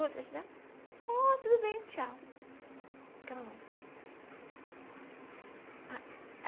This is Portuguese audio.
Ah, tudo bem, tchau.